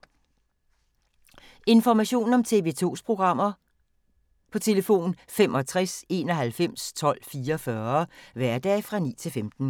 Information om TV 2's programmer: 65 91 12 44, hverdage 9-15.